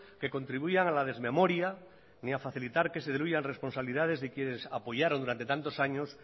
que contribuyan a la desmemoria ni a facilitar que se diluyan responsabilidades de quienes apoyaron durante tantos años